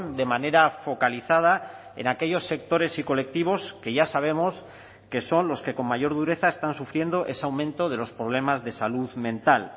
de manera focalizada en aquellos sectores y colectivos que ya sabemos que son los que con mayor dureza están sufriendo ese aumento de los problemas de salud mental